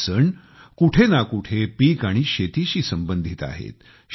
हे सण कुठे ना कुठे पिक आणि शेतीशी संबंधित आहेत